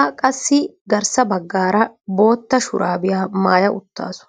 a qassi garssa baggaara bootta shuraabiyaa maaya uttaasu.